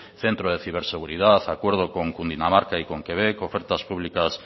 centro de ciberseguridad acuerdo con dinamarca y con quebec ofertas públicas